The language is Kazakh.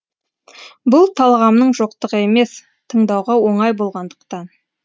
бұл талғамның жоқтығы емес тыңдауға оңай болғандықтан